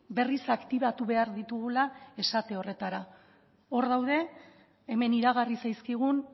berriz aktibatu behar ditugula esate horretara hor daude hemen iragarri zaizkigun